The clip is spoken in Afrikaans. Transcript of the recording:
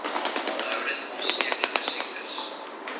aanhoudend aansteeklike siektes